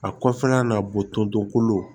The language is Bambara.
A kɔfɛla na botoonto kolo